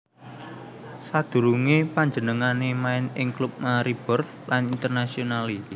Sadurungé panjenengané main ing klub Maribor lan Internazionale